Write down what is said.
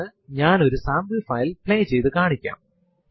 prompt ൽ PWD എന്ന് type ചെയ്തു എന്റർ അമർത്തുക